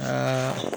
Aa